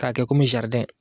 K'a kɛ kɔmi jaridɛn!